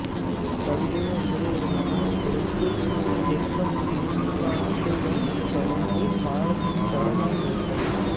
கவிதை என்பது ஒரு மொழியின் புடைப்புச் சிற்பம்நூற்றாண்டுகள் கடந்தும் காலத்தின் தடமாய் நிற்பது